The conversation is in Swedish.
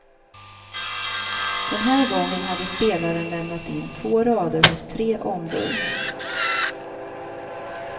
Den här gången hade spelaren lämnat in två rader hos tre ombud.